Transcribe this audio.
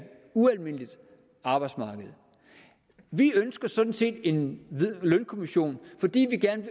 ualmindeligt arbejdsmarked vi ønsker sådan set at en lønkommission fordi vi gerne